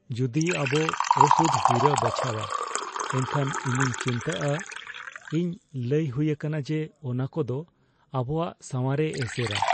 ᱡᱩᱫᱤ ᱟᱵᱚ ᱚᱥᱩᱫᱷ ᱦᱤᱨᱟᱹ ᱵᱟᱪᱷᱟᱣᱟ ᱮᱱᱠᱷᱟᱱ ᱤᱧᱤᱧ ᱪᱤᱱᱛᱟᱹᱜᱼᱟ ᱾ ᱤᱧ ᱞᱟᱹᱭ ᱦᱩᱭ ᱟᱠᱟᱱᱟ ᱡᱮ ᱚᱱᱟᱠᱚ ᱫᱚ ᱟᱵᱚᱣᱟᱜ ᱥᱟᱶᱟᱨᱮ ᱮᱥᱮᱨᱟ ᱾